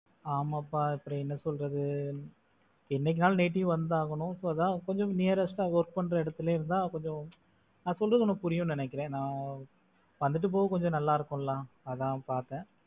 ஆமாப்பா அப்புறம் என்ன சொல்றது? என்னைக்கா இருந்தாலும் native வந்தாகணும். So அதான் கொஞ்சம் nearest ஆ work பண்ற இடத்திலேயே இருந்தால் கொஞ்சம், நான் சொல்றது உனக்கு புரியுமண்ணு நினைக்கிறேன். நான் வந்துட்டு போக கொஞ்சம் நல்லா இருக்கும் இல்ல அதான் பார்த்தேன்.